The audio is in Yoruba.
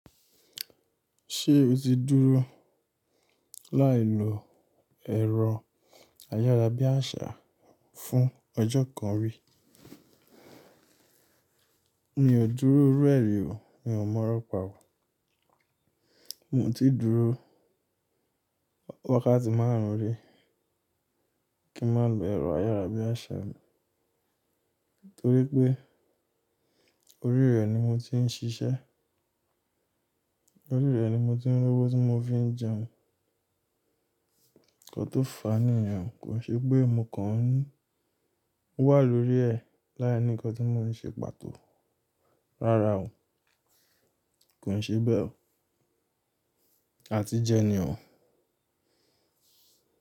Ṣé o ti dúró láì lo ẹ̀rọ ayárabíàṣá fún ọjọ́ kan rí? Mi ò dúró iru e ri o. Mi ò mọ̀rọ̀ pa wò. Mo ti dúró wákàtí márùn-ún rí kí n má lo ẹ̀rọ ayárabíàṣá. Nítorí pé orí rẹ̀ ni mo ti ń ṣiṣẹ́. Orí rẹ̀ ni mo ti ń r'owo tí mo fi ń jẹun. Ǹkan tó fàá níyen kò ṣe pé mo kàn wà lórí ẹ̀ láìní ǹkan tí mo n ṣe pàtó. Rárá o, kò ṣe bẹ́ẹ̀ o. A ti jẹ ni o.